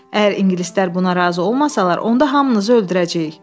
Əgər ingilislər buna razı olmasalar, onda hamınızı öldürəcəyik.